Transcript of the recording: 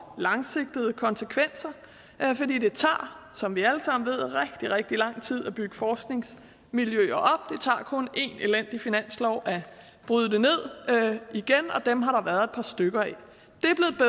langsigtede konsekvenser fordi det tager som vi alle sammen ved rigtig rigtig lang tid at bygge forskningsmiljøer det tager kun én elendig finanslov at bryde det ned igen og dem har der været et par stykker af de